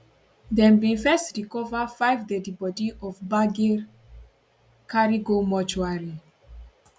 dem bin first recover five deadi bodi for gbagir carry go mortuary